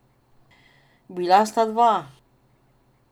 Bila sta dva.